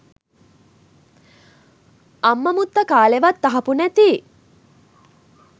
අම්ම මුත්තා කාලෙවත් අහපු නැති